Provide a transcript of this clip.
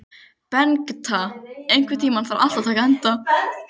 Bengta, einhvern tímann þarf allt að taka enda.